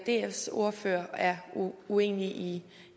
dfs ordfører er uenig i